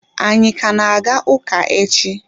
Anyi ka na-aga ụka echi?